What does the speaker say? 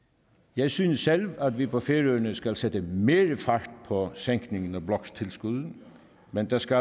jeg synes selv at vi på færøerne skal sætte mere fart på sænkningen af bloktilskuddet men der skal